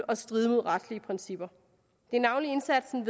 og stride mod retslige principper det er navnlig indsatsen i